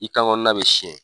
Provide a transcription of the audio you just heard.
I kan kɔnɔna be siɲɛ.